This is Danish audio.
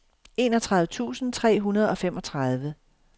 enogtredive tusind tre hundrede og femogtredive